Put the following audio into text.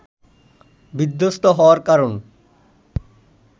বিধ্বস্ত হওয়ার কারণ